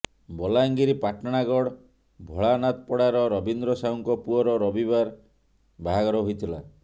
ବଲାଙ୍ଗୀର ପାଟଣାଗଡ ଭୋଳାନାଥପଡାର ରବୀନ୍ଦ୍ର ସାହୁଙ୍କ ପୁଅର ରବିବାର ବାହାଘର ହୋଇଥିଲା